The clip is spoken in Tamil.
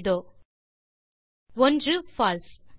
இதோ விடைகள் 1பால்சே